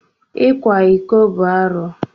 Ịkwa iko bụ arụ.